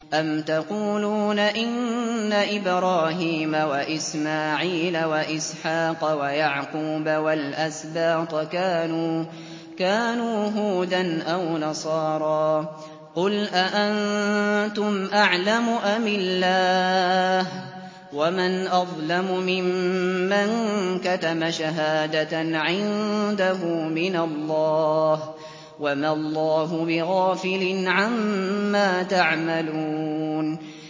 أَمْ تَقُولُونَ إِنَّ إِبْرَاهِيمَ وَإِسْمَاعِيلَ وَإِسْحَاقَ وَيَعْقُوبَ وَالْأَسْبَاطَ كَانُوا هُودًا أَوْ نَصَارَىٰ ۗ قُلْ أَأَنتُمْ أَعْلَمُ أَمِ اللَّهُ ۗ وَمَنْ أَظْلَمُ مِمَّن كَتَمَ شَهَادَةً عِندَهُ مِنَ اللَّهِ ۗ وَمَا اللَّهُ بِغَافِلٍ عَمَّا تَعْمَلُونَ